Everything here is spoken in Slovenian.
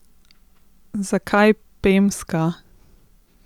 Zakaj pemska?